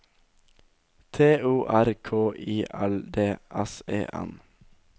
T O R K I L D S E N